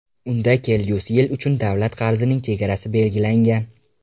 Unda kelgusi yil uchun davlat qarzining chegarasi belgilangan.